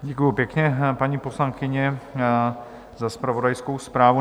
Děkuji pěkně, paní poslankyně, za zpravodajskou zprávu.